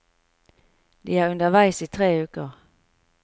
De er underveis i tre uker.